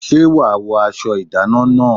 Ṣé wàá wọ aṣọ ìdáná náà?